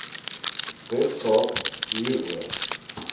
wes kaap hieroor